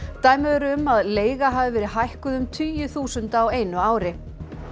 dæmi eru um að leiga hafi verið hækkuð um tugi þúsunda á einu ári